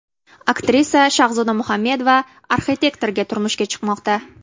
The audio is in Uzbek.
Aktrisa Shahzoda Muhammedova arxitektorga turmushga chiqmoqda .